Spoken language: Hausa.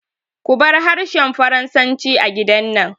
Kubar harshen Faransanci a gidan nan!